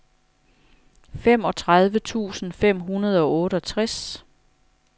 femogtredive tusind fem hundrede og otteogtres